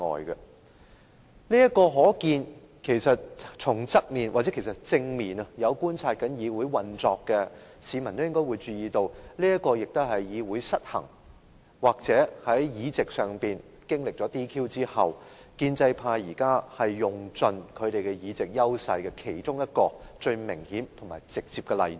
有從側面或正面觀察議會運作的市民應也注意到，這也是議會失衡或在議席上經歷撤銷議員資格的事件後，建制派現時用盡其議席優勢的其中一個最明顯和直接的例子。